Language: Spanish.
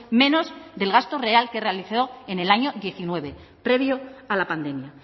menos del gasto real que realizó en el año diecinueve previo a la pandemia